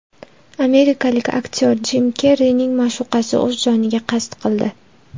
Amerikalik aktyor Jim Kerrining ma’shuqasi o‘z joniga qasd qildi.